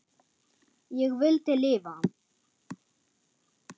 Ég vildi lifa.